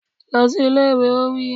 Lọ sí ilé ìwé! Ó wí.